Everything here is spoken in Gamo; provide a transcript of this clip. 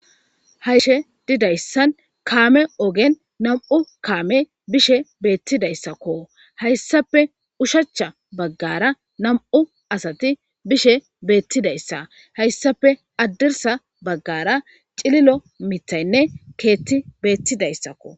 Hayshe didayssan kaame ogen nam'u kaame bishe beettidayssakko hayssape ushachcha baggara nam'u asati bishe beettidayssa hayssape addirsa baggara cililo mitaynne keetti beettidayssakko.